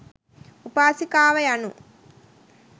උපාසිකාව යනු